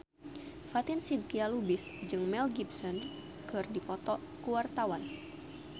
Fatin Shidqia Lubis jeung Mel Gibson keur dipoto ku wartawan